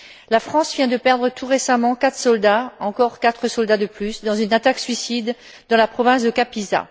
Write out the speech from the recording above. La France vient de perdre tout récemment quatre soldats encore quatre soldats de plus dans une attaque suicide dans la province de Kapisa.